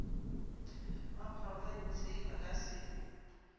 wa porofense ba ka se